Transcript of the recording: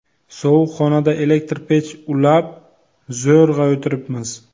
Sovuq xonada elektr pech ulab, zo‘rg‘a o‘tiribmiz.